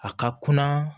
A ka kunna